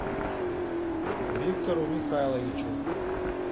виктору михайловичу